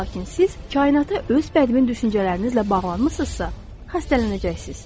Lakin siz kainata öz bədmin düşüncələrinizlə bağlısınızsa, xəstələnəcəksiz.